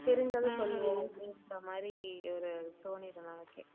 தெரிஞ்சத சொல்லுவோம் அப்படின்ற மாதிரி ஒரு தோனிரும் நமக்கே